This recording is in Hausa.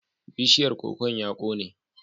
Bishiyar kokon ya kone.